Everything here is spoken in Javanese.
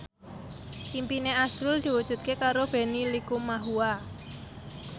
impine azrul diwujudke karo Benny Likumahua